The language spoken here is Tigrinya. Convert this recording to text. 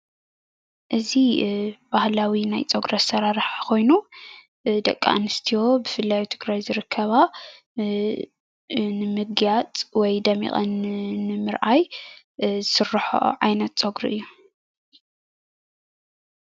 እዚ ባህላዊ ናይ ጸጉሪ ኣሰራርሓ ኮይኑ ደቂ ኣንስትዮ ብፍላይ ኣብ ትግራይ ዝርከባ ንምግያጽ ወይ ደሚቐን ንምርኣይ ዝስርሐኦ ዓይነት ጸጉሪ እዩ።